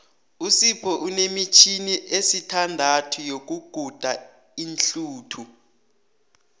usipho unemitjhini esithandathu yokuguda iinhluthu